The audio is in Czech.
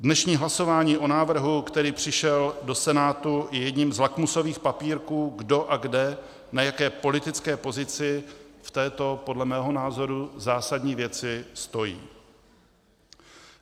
Dnešní hlasování o návrhu, který přišel do Senátu, je jedním z lakmusových papírků, kdo a kde, na jaké politické pozici v této podle mého názoru zásadní věci stojí.